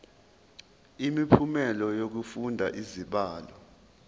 imiphumela yokufunda izibalo